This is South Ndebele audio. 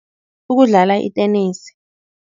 Ukudlala itenesi.